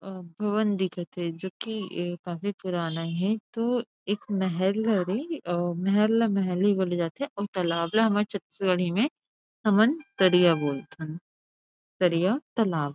अ भवन दिखत थे जो की ए काफी पुराना हे तो एक महल हरे अ महल ल महल ही बोली जाथेअऊ तालाब ला हमर छत्तीसगढ़ी में हमन तरिया बोलथन तरिया तालाब --